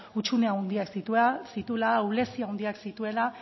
hutsune handiak zituela ahulezia handiak zituela